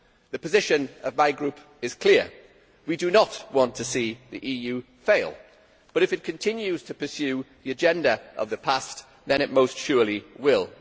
The position of my group is clear we do not want to see the EU fail, but if it continues to pursue the agenda of the past then it most surely will.